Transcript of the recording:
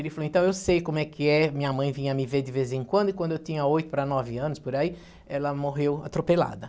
Ele falou, então, eu sei como é que é, minha mãe vinha me ver de vez em quando, e quando eu tinha oito para nove anos, por aí, ela morreu atropelada.